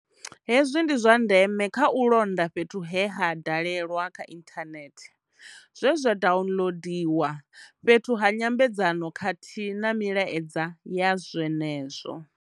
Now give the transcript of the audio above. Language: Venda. Hezwi ndi zwa ndeme kha u londa fhethu he ha dalelwa kha ithanethe, zwe zwa daunḽodiwa, fhethu ha nyambedzano khathihi na milaedza ya zwe nezwo.